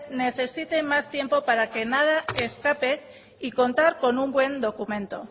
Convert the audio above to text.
necesite más tiempo para que nada escape y contar con un buen documento